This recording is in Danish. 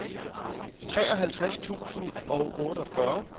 treoghalvtreds tusind og otteogfyrre